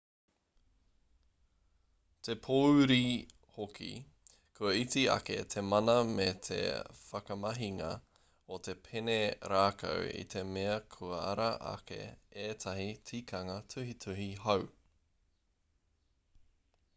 te pōuri hoki kua iti ake te mana me te whakamahinga o te pene rākau i te mea kua ara ake ētahi tikanga tuhituhi hou